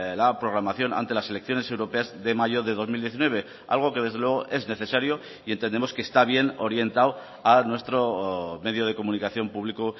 la programación ante las elecciones europeas de mayo de dos mil diecinueve algo que desde luego es necesario y entendemos que está bien orientado a nuestro medio de comunicación publico